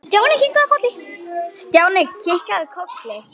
Stjáni kinkaði kolli.